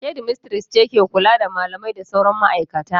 Shedimistres ce ke kula da malamai da sauran ma'aikata.